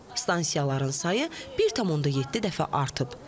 Stansiyaların sayı 1,7 dəfə artıb.